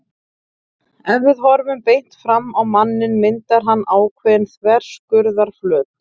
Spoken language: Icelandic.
Ef við horfum beint framan á manninn myndar hann ákveðinn þverskurðarflöt.